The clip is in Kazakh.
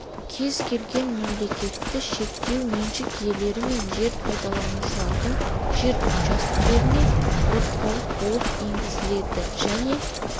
кез келген қызметті шектеу меншік иелері мен жер пайдаланушылардың жер учаскелеріне ауыртпалық болып енгізіледі және